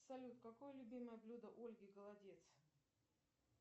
салют какое любимое блюдо ольги голодец